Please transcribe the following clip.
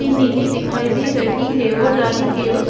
नीली दिखाई दे रही है और जाली के ओस --